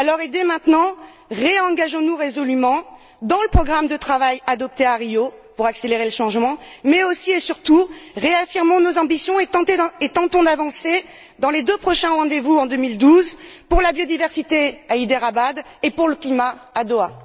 Dès maintenant, réengageons nous résolument dans le programme de travail adopté à Rio pour accélérer le changement mais, aussi et surtout, réaffirmons nos ambitions et tentons d'avancer dans les deux prochains rendez vous de 2012 pour la biodiversité à Hyderabad et pour le climat à Doha.